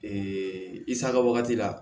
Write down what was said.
i saga wagati la